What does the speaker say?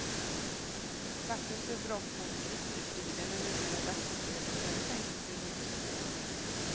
Straffet för brott mot griftefriden är numera dagsböter eller fängelse i högst två år.